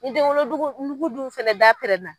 I denwolodugu nugu dun fɛnɛ da pɛrɛna